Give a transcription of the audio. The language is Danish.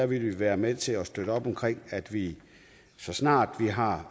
vil være med til at støtte op omkring at vi så snart vi har